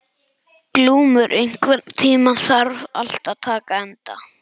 Glúmur, einhvern tímann þarf allt að taka enda.